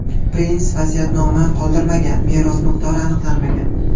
Prins vasiyatnoma qoldirmagan, meros miqdori aniqlanmagan.